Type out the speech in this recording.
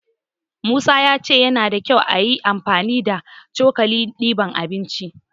Musa ya ce yana da kyau ayi amfani da cokalin diban abinci.